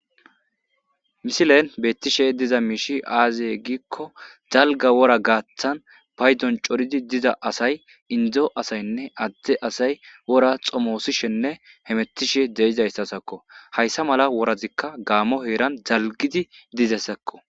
Misilen betishe diza mishi aze giko dalga wora gathan paydon coridi diza asay indo asanne ade asay wora xomosishenne hemetishe de'izaysazako haysa mala worazika gamo dalgidi dizaysako